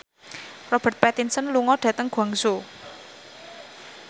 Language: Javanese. Robert Pattinson lunga dhateng Guangzhou